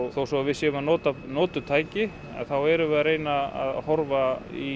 þó svo að við séum að nota notuð tæki þá erum vð að reyna að horfa í